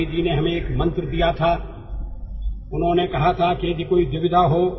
ಗಾಂಧೀಜಿಯವರು ಒಂದು ಮಂತ್ರವನ್ನು ನೀಡಿದ್ದು ನಮ್ಮೆಲ್ಲರಿಗೂ ನೆನಪಿದೆ